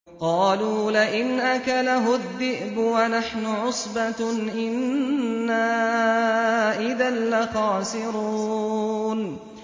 قَالُوا لَئِنْ أَكَلَهُ الذِّئْبُ وَنَحْنُ عُصْبَةٌ إِنَّا إِذًا لَّخَاسِرُونَ